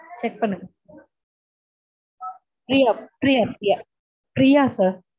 check பண்ணுங்க Priya Priya Priya sir